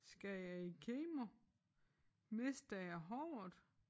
Skal jeg i kemo? Mister jeg håret?